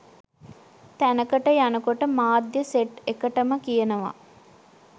තැනකට යනකොට මාධ්‍ය සෙට් එකටම කියනවා.